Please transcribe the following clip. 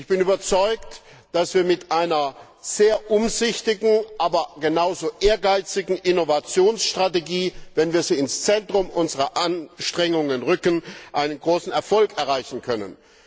Ich bin überzeugt, dass wir mit einer sehr umsichtigen, aber genauso ehrgeizigen Innovationsstrategie wenn wir sie ins Zentrum unserer Anstrengungen rücken einen großen Erfolg erzielen können.